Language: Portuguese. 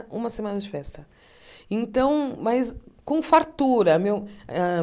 Uma semana de festa então mas com fartura meu ah